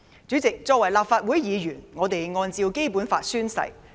主席，作為立法會議員，我們按照《基本法》宣誓。